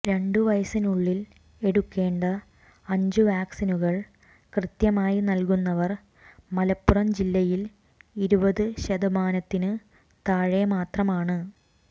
രണ്ടു വയസിനുള്ളിൽ എടുക്കേണ്ട അഞ്ചു വാക്സിനുകൾ കൃത്യമായി നൽകുന്നവർ മലപ്പുറം ജില്ലയിൽ ഇരുപത് ശതമാനത്തിന് താഴെ മാത്രമാണ്